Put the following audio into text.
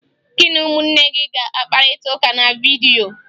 Gị na ụmụnne gị ga-akpakọrịta na vidyo!